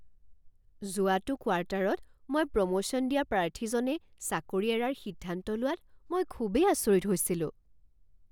যোৱাটো কোৱাৰ্টাৰত মই প্ৰমোশ্যন দিয়া প্ৰাৰ্থীজনে চাকৰি এৰাৰ সিদ্ধান্ত লোৱাত মই খুবেই আচৰিত হৈছিলোঁ।